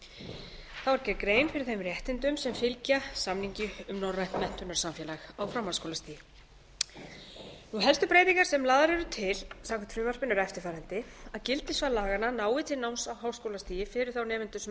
þá er gerð grein fyrir þeim réttindum sem fylgja samningi um norrænt menntunarsamfélag á framhaldsskólastigi helstu breytingar sem lagðar eru til samkvæmt frumvarpinu eru eftirfarandi að gildissvið laganna nái til náms á háskólastigi fyrir þá nemendur sem